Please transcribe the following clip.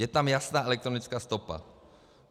Je tam jasná elektronická stopa.